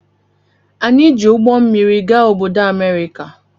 Anyị ji ụgbọ mmịrị gaa obodo America.